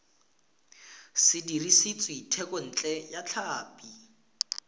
se dirisitswe thekontle ya tlhapi